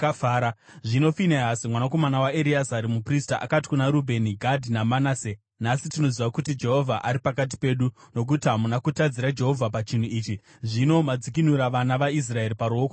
Zvino Finehasi mwanakomana waEreazari, muprista, akati kuna Rubheni, Gadhi naManase, “Nhasi tinoziva kuti Jehovha ari pakati pedu, nokuti hamuna kutadzira Jehovha pachinhu ichi. Zvino madzikinura vana vaIsraeri paruoko rwaJehovha.”